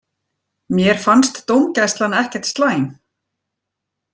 Mér fannst dómgæslan ekkert slæm.